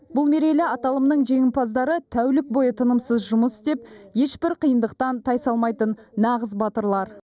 бұл мерейлі аталымның жеңімпаздары тәулік бойы тынымсыз жұмыс істеп ешбір қиындықтан тайсалмайтын нағыз батырлар